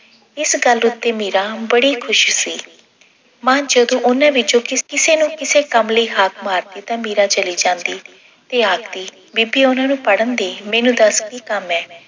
ਇਸ ਗੱਲ ਉੱਤੇ ਮੀਰਾ ਬੜੀ ਖੁਸ਼ ਸੀ। ਮਾਂ ਜਦੋਂ ਉਹਨਾਂ ਵਿੱਚੋਂ ਕਿਸੇ ਨੂੰ ਕਿਸੇ ਕੰਮ ਲਈ ਹਾਕ ਮਾਰਦੀ ਤਾਂ ਮੀਰਾ ਚਲੀ ਜਾਂਦੀ ਤੇ ਆਖਦੀ ਬੀਬੀ ਉਹਨਾਂ ਨੂੰ ਪੜ੍ਹਨ ਦੇ ਮੈਨੂੰ ਦੱਸ ਕੀ ਕੰਮ ਐਂ।